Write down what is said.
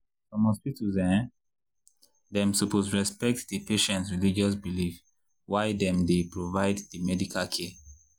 some hospitals[um]dem suppose respect di patients religious beliefs why dem dey provide di medical care